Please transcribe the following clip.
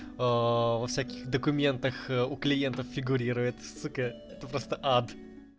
в каких документах у клиентов фигурирует это просто ад